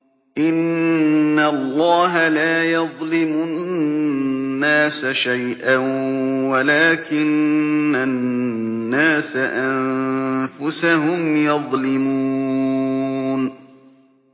إِنَّ اللَّهَ لَا يَظْلِمُ النَّاسَ شَيْئًا وَلَٰكِنَّ النَّاسَ أَنفُسَهُمْ يَظْلِمُونَ